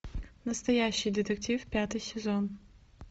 настоящий детектив пятый сезон